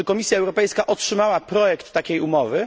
Czy Komisja Europejska otrzymała projekt takiej umowy?